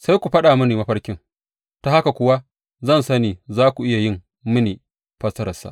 Sai ku faɗa mini mafarkin, ta haka kuwa zan sani za ku iya yi mini fassararsa.